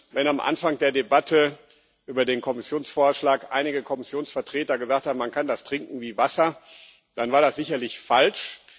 Wenn am Anfang der Debatte über den Kommissionsvorschlag einige Kommissionsvertreter gesagt haben Man kann das trinken wie Wasser, dann war das sicherlich falsch.